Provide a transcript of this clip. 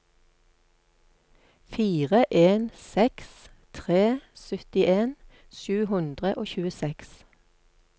fire en seks tre syttien sju hundre og tjueseks